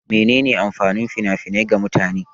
Mene ne amfanin fina-finai ga mutane?